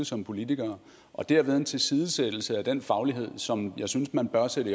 som politikere og dermed at en tilsidesættelse af den faglighed som jeg synes man bør sætte